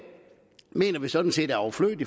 mener vi sådan set er overflødigt